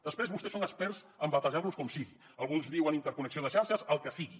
després vostès són experts en batejar les com sigui alguns en diuen interconnexió de xarxes el que sigui